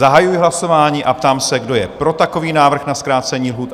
Zahajuji hlasování a ptám se, kdo je pro takový návrh na zkrácení lhůt?